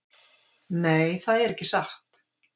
Nei, það er ekki satt.